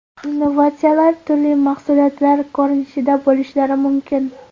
Innovatsiyalar turli mahsulotlar ko‘rinishida bo‘lishlari mumkin.